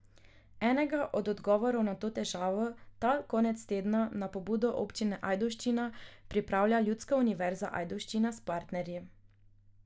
Enega od odgovorov na to težavo ta konec tedna na pobudo občine Ajdovščina pripravlja Ljudska univerza Ajdovščina s partnerji.